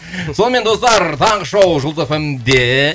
сонымен достар таңғы шоу жұлдыз эф эм де